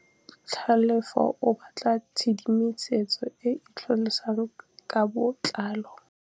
Tlhalefô o batla tshedimosetsô e e tlhalosang ka botlalô.